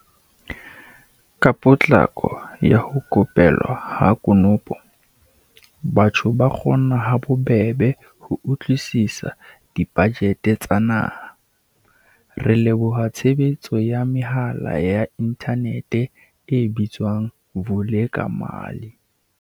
Ka potlako ya ho ko pelwa ha konopo, batho ba kgona ha bobebe ho utlwisisa dibajete tsa naha, re leboha tshebetso ya mehala ya inthanete e bitswang Vulekamali.